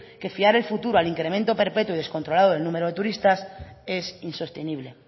que fiar el futuro al incremento perpetuo y descontrolado del número de turistas es insostenible